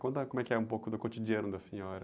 Conta como é que é um pouco do cotidiano da senhora.